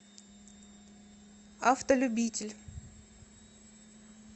автолюбитель